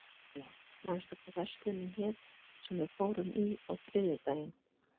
Viktoria, manstu hvað verslunin hét sem við fórum í á þriðjudaginn?